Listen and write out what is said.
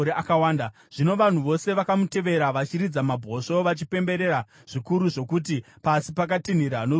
Zvino vanhu vose vakamutevera vachiridza mabhosvo vachipembera zvikuru zvokuti pasi pakatinhira noruzha rwavo.